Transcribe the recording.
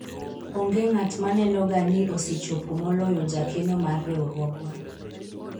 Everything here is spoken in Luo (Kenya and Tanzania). onge ng'at maneno ga ni osechopo moloyo jakeno mar riwruogwa